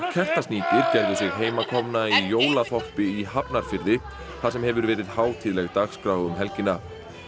Kertasníkir gerðu sig heimakomna í jólaþorpi í Hafnarfirði þar sem hefur verið hátíðleg dagskrá um helgina